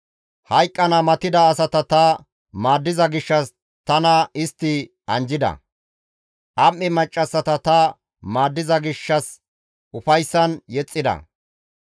Hayqqana matida asata ta maaddiza gishshas tana istti anjjida; am7e maccassata ta maaddiza gishshas ufayssan yexxida.